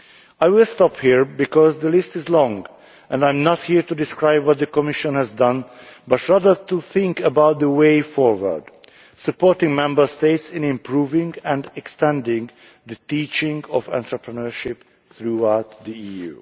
I will stop here because the list is long and I am not here to describe what the Commission has done, but rather to think about the way forward supporting Member States in improving and extending the teaching of entrepreneurship throughout the EU.